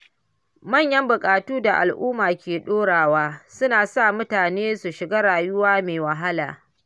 Manyan buƙatu da al’umma ke ɗorawa suna sa mutane su shiga rayuwa mai wahala.